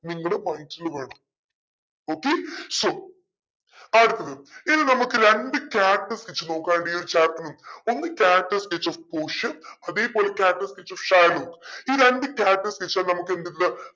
നിങ്ങടെ mind ല് വേണം okay so അടുത്തത് ഇനി നമുക്ക് രണ്ട് character sketch നോക്കുവനിണ്ട് ഈ ഒരു chapter ൽ ഒന്ന് character sketch of പോഷിയ അതേപോലെ character sketch of ഷൈലോക്ക് ഈ രണ്ട് character sketch വാ നമ്മുക്ക്